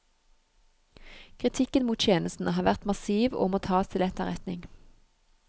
Kritikken mot tjenesten har vært massiv og må tas til etterretning.